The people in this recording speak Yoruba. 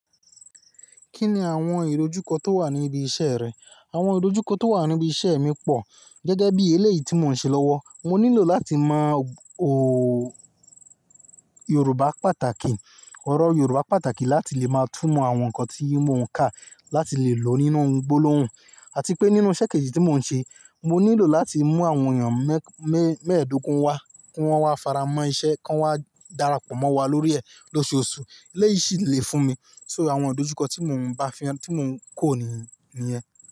Kí ni àwọn ìdojúkọ tó wà ní ibi iṣẹ́ rẹ? Àwọn ìdojúkọ tó wà ní ibi iṣẹ́ mi pọ̀. Gẹ́gẹ́ bí eléyìí tí mò ń ṣe lọ́wọ́, mo nílò láti mọ, òò Yorùbá pàtàkì, ọ̀rọ̀ Yorùbá pàtàkì láti lè máa túmọ̀ àwọn nǹkan tí mò ń kà, láti lè lo nínú gbólóhùn. Àti pé nínú iṣẹ́ kejì tí mò ń ṣe, mo nílò láti mú àwọn èèyàn mẹ́-mẹ́ẹdógún wá, kí wọ́n wá faramọ́ iṣẹ́, kí wọ́n wá darapọ̀ mọ́ wa lórí ẹ̀ lóṣooṣù. Léyìí sì le fún mi. So àwọn ìdojúkọ tí mò ń bá fi hàn, tí mò ń kọ́ nìyẹn.